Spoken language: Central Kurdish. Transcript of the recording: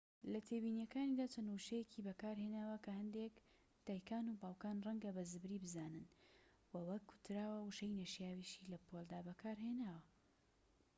لە تێبینیەکانیدا چەند وشەیەکی بەکارهێناوە کە هەندێك دایکانوباوکان ڕەنگە بە زبری بزانن وە وەک وتراوە وشەی نەشیاویشی لە پۆلدا بەکارهێناوە